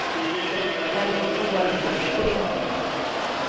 Eleonora Forsgren